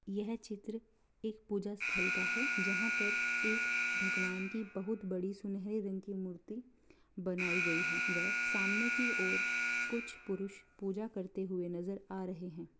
यह चित्र एक पूजा स्थल का है जहाँ पर एक भगवान की बहुत बड़ी सुनहरे रंग की मूर्ति बनायीं गयी है वह सामने की ओर कुछ पुरुष पूजा करते हुए नजर आ रहे हैं।